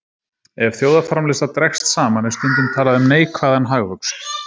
Ef þjóðarframleiðsla dregst saman er stundum talað um neikvæðan hagvöxt.